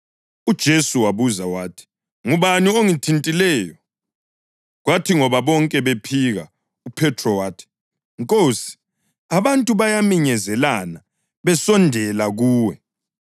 UJesu wabuza wathi, “Ngubani ongithintileyo?” Kwathi ngoba bonke bephika uPhethro wathi, “Nkosi, abantu bayaminyezelana besondela kuwe.”